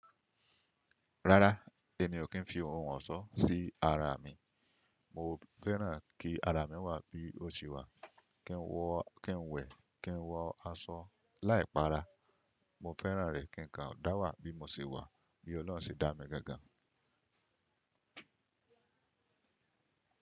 Rárá, èmi o kí n fi ohun ọ̀ṣọ́ sí ara mi. Mo fẹ́ràn kí ara mi wà bí o ti wà, kí n wọ, kí n wẹ̀, kí n wọ aṣọ láìpara. Mo fẹ́ràn rẹ̀ kí kan dà wà bí mo ṣe wà, bí Ọlọ́run ṣe dá mi gangan.